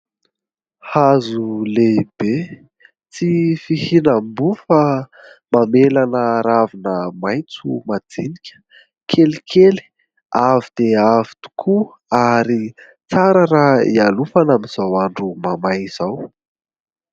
Hazo lehibe tsy fihinam-boa fa mamelana ravina maintso majinika, kelikely. Avo dia avo tokoa ary tsara raha ihalofana amin'ny izao andro mamay izao.